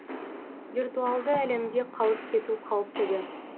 виртуалды әлемде қалып кету қауіптігі